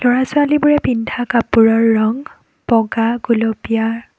ল'ৰা ছোৱালীবোৰে পিন্ধা কাপোৰৰ ৰং বগা গুলপীয়া।